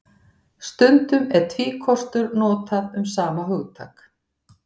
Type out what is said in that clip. Stundum er tvíkostur notað um sama hugtak.